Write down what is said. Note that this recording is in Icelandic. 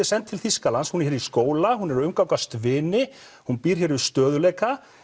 send til Þýskalands hún er hér í skóla hún er að umgangast vini hún býr hér við stöðugleika